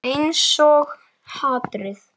Einsog hatrið.